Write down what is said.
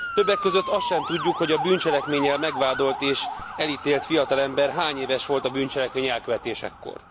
Többek között azt sem tudjuk, hogy a bűncselekménnyel megvádolt és elítélt fiatalember hány éves volt a bűncselekmény elkövetésekor.